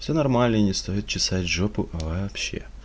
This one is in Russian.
все нормально не стоит чесать жопу вообще